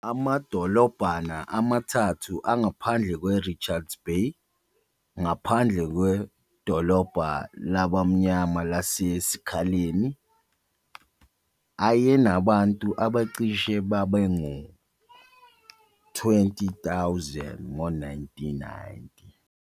Amadolobhana amathathu angaphandle kweRichards Bay, ngaphandle kwedolobha labamnyama lase-Sikhaleni, ayenabantu abacishe babe ngu-20,000 ngo-1990.